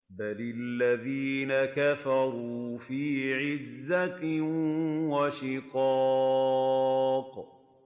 بَلِ الَّذِينَ كَفَرُوا فِي عِزَّةٍ وَشِقَاقٍ